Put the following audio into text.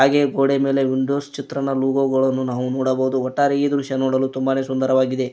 ಈ ಗೋಡೆ ಮೇಲೆ ವಿಂಡೋಸ್ ಚಿತ್ರಣ ಲೋಗೋ ಗಳನ್ನು ನಾವು ನೋಡಬಹುದು ಒಟ್ಟಾರೆ ಈ ದೃಶ್ಯ ನೋಡಲು ತುಂಬಾನೇ ಸುಂದರವಾಗಿದೆ.